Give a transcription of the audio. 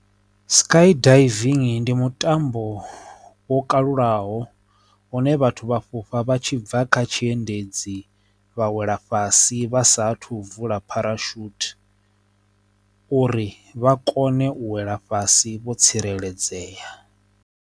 Sky diving ndi mutambo wo kalulaho une vhathu vha fhufha vha tshi bva kha tshiendedzi vha wela fhasi vha sa thu vula dzipharashuthi uri vha kone u wela fhasi vho tsireledzea.